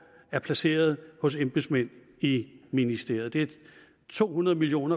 er placeret hos embedsmænd i ministeriet det er to hundrede million